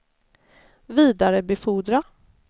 vidarebefordra